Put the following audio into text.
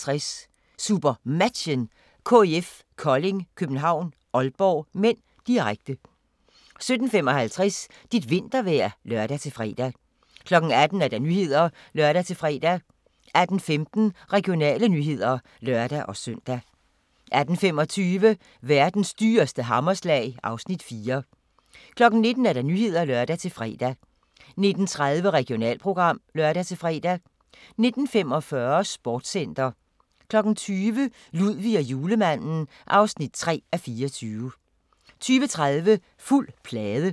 16:55: SuperMatchen: KIF Kolding København-Aalborg (m), direkte 17:55: Dit vintervejr (lør-fre) 18:00: Nyhederne (lør-fre) 18:15: Regionale nyheder (lør-søn) 18:25: Verdens dyreste hammerslag (Afs. 4) 19:00: Nyhederne (lør-fre) 19:30: Regionalprogram (lør-fre) 19:45: Sportscenter 20:00: Ludvig og Julemanden (3:24) 20:30: Fuld plade